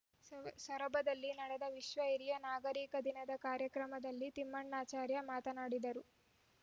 ಸ್ ಸೊರಬದಲ್ಲಿ ನಡೆದ ವಿಶ್ವ ಹಿರಿಯ ನಾಗರಿಕರ ದಿನದ ಕಾರ್ಯಕ್ರಮದಲ್ಲಿ ತಿಮ್ಮಣ್ಣಾಚಾರ್‌ ಮಾತನಾಡಿದರು